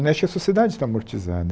Né acho que a sociedade está amortizada.